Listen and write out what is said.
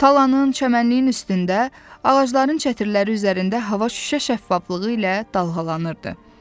Talanın, çəmənliyin üstündə, ağacların çətirləri üzərində hava şüşə şəffaflığı ilə dalğalanırdı.